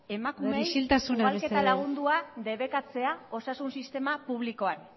emakumeei isiltasuna mesedez ugalketa lagundua debekatzea osasun sistema publikoan